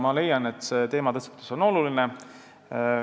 Ma leian, et see teematõstatus on oluline.